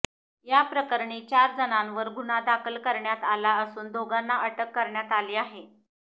या प्रकरणी चार जणांवर गुन्हा दाखल करण्यात आला असून दोघांना अटक करण्यात आली आहे